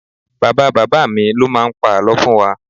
Bàbá bàbá mi ló máa ń pa àlọ́ fún wa